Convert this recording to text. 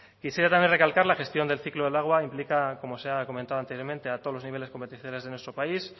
quisiera también recalcar la gestión del ciclo del agua implica como se ha comentado anteriormente de todos los niveles competenciales de nuestro país